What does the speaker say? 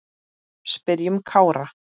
Spyrjum Kára.